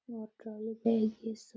electronic है ये सब --